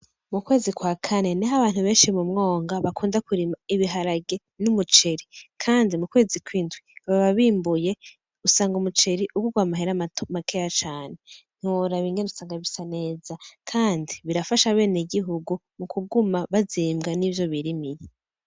Mu kwezi kwa kane, niho abantu benshi mu mwonga bakunda kurima ibiharage n’umuceri. Kandi mu kwezi kw’indwi baba bimbuye usanga umuceri ugurwa amahera makeya cane. Ntiworaba ingene usanga bisa neza, kandi birafasha benegihugu mu kuguma bazimbwa n’ivyo birimye.